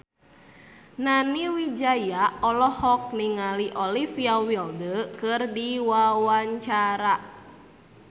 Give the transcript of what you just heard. Nani Wijaya olohok ningali Olivia Wilde keur diwawancara